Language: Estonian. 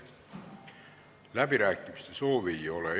Läbirääkimiste soovi ei ole.